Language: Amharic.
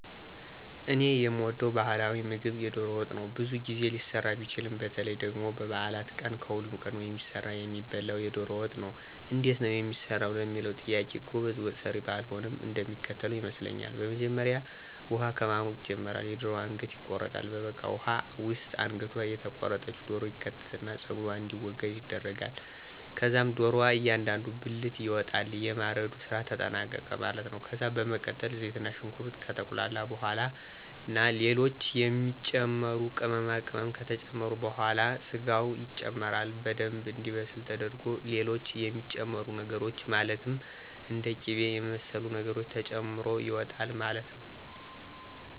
እኔ የምወደው ባህላዊ ምግብ የዶሮ ወጥ ነው። ብዙ ጊዜ ሊሰራ ቢችልም በተለይ ደግሞ በበዓላት ቀን ከሁሉም ቀድሞ የሚሰራና የሚበላው የዶሮ ወጥ ነው። እንዴት ነው የሚሰራው ለሚለው ጥያቄ ጎበዝ ወጠሰሪ ባልሆንም እንደሚከተለው ይመስለኛል። በመጀመሪያ ውሃ ከማሞቅ ይጀመራል፤ የደሮዋ አንገት ይቆረጣል፤ በበቃው ውሃ ውስጥ አንገቷ የተቆረጠች ዶሮ ይከተትና ፀጉሯ እንዲወገድ ይደረጋል። ከዛም ዶሮዋ እያንዳንዱ ብልት ይወጣል። የማረዱ ስራ ተጠናቀቀ ማለት ነው። ከዛ በመቀጠል ዘይትና ሽንኩርት ከተቁላላ በኋላ ና ሌሎች የሚጨመሩ ቅመማቅመም ከተጨመረ በኋላ ስጋው ይጨመራል። በደምብ እንዲበስል ተደርጎ ሌሎች የሚጨመሩ ነገሮች ማለትም እንደ ቂበ የመሰሉ ነገሮች ተጨምሮ ይወጣል ማለት ነው።